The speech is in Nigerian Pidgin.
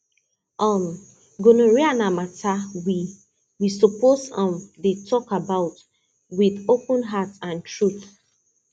um gonorrhea na matter we we suppose um dey talk about with open heart and truth